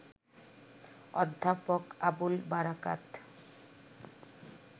অধ্যাপক আবুল বারাকাত